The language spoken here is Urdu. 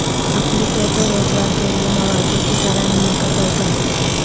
اقلیتوں کو روزگار کیلئے مواقع کی فراہمی کا تیقن